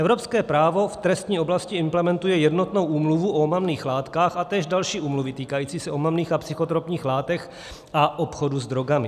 Evropské právo v trestní oblasti implementuje jednotnou úmluvu o omamných látkách a též další úmluvy týkající se omamných a psychotropních látek a obchodu s drogami.